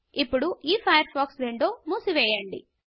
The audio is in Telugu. ఇప్పుడు ఈ ఫైర్ఫాక్స్ విండో మూసి వేయండి